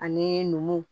Ani numuw